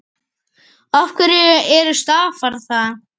Af hverju stafar það?